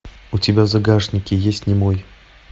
у тебя в загашнике есть немой